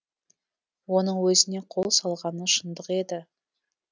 оның өзіне қол салғаны шындық еді